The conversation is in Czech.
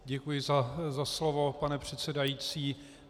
Děkuji za slovo, pane předsedající.